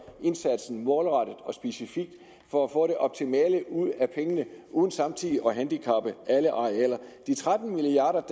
indsatsen målrettet og specifik for at få det optimale ud af pengene uden samtidig at handicappe alle arealer de tretten milliard